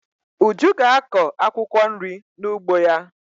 Uju ga-akọ akwụkwọ nri n'ugbo ya.